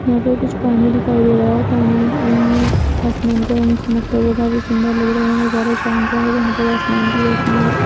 यहाँ पर कुछ पानी दिखाई दे रहा है पानी में आसमान का रंग चमकता हुआ काफी सुन्दर लग रहा है ये नजारा शाम का है जहाँ पर आसमान की रौशनी --